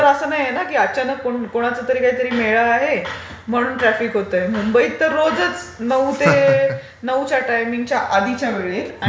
हे तर असं नाहीये ना की अचानक कोणाचातरी काहीतरी मेळा आहे, म्हणून ट्राफिक होतय. मुंबईत तर रोजचं नऊ ते... नऊच्या टायमिंगच्या आधीच्या वेळेत...